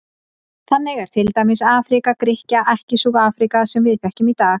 Þannig er til dæmis Afríka Grikkja ekki sú Afríka sem við þekkjum í dag.